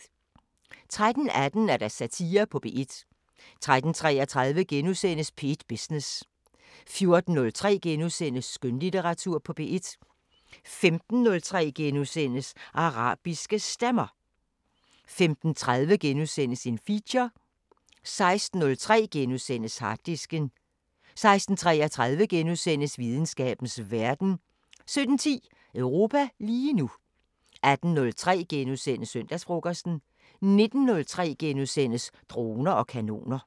13:18: Satire på P1 13:33: P1 Business * 14:03: Skønlitteratur på P1 * 15:03: Arabiske Stemmer * 15:30: Feature * 16:03: Harddisken * 16:33: Videnskabens Verden * 17:10: Europa lige nu 18:03: Søndagsfrokosten * 19:03: Droner og kanoner *